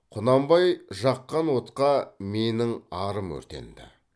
құнанбай жаққан отқа менің арым өртенді